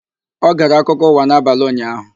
Ọ gere akụkọ ụwa n'abalị ụnyaahụ?